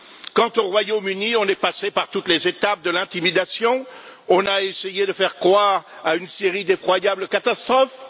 Quant au Royaume Uni, on est passé par toutes les étapes de l'intimidation, on a essayé de faire croire à une série d'effroyables catastrophes.